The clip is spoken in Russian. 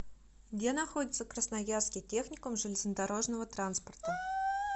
где находится красноярский техникум железнодорожного транспорта